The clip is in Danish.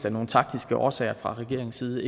af nogle taktiske årsager fra regeringens side